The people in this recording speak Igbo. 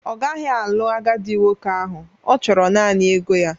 Ọ gaghị alụ agadi nwoke ahụ, ọ chọrọ naanị ego ya